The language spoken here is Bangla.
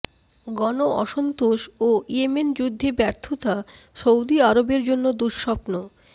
গণঅসন্তোষ ও ইয়েমেন যুদ্ধে ব্যর্থতা সৌদি আরবের জন্য দুঃস্বপ্ন